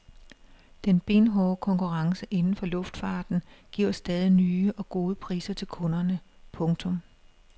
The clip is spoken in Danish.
Den benhårde konkurrence inden for luftfarten giver stadig nye og gode priser til kunderne. punktum